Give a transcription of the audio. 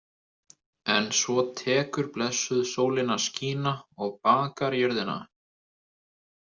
En svo tekur blessuð sólin að skína og bakar jörðina.